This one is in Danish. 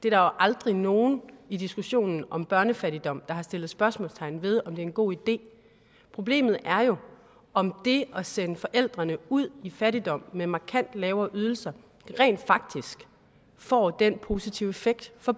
er jo aldrig nogen i diskussionen om børnefattigdom der har sat spørgsmålstegn ved altså om det er en god idé problemet er jo om det at sende forældrene ud i fattigdom med markant lavere ydelser rent faktisk får den positive effekt for